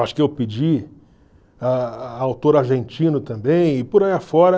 Acho que eu pedi a a autor argentino também, e por aí afora.